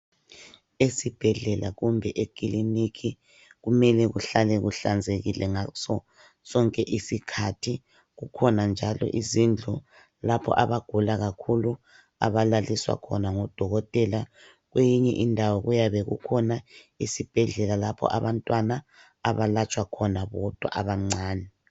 Esibhedlela kumbe ekiliniki kumele kuhlale kuhlanzekile ngaso sonke isikhathi. Kukhona njalo izindlu lapho abagula kakhulu abalaliswa khona ngodokothela. Kweyinye indawo kuyabe kukhona isibhedlela lapho abantwana abalatshwa khona bodwa abancani.